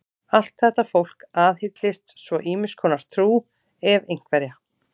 Allt þetta fólk aðhyllist svo ýmiss konar trú, ef einhverja.